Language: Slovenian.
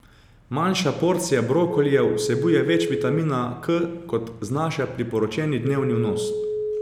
Manjša porcija brokolija vsebuje več vitamina K, kot znaša priporočeni dnevni vnos.